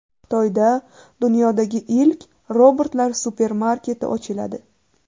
Xitoyda dunyodagi ilk robotlar supermarketi ochiladi.